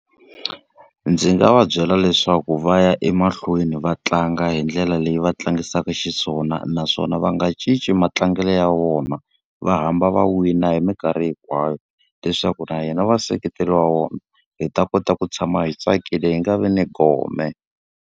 Ndzi nga va byela leswaku va ya emahlweni va tlanga hi ndlela leyi va tlangisaka xiswona naswona va nga cinci matlangelo ya vona, va hamba va wina hi minkarhi hinkwayo. Leswaku na hina vaseketeri va vona hi ta kota ku tshama hi tsakile, hi nga vi ni gome.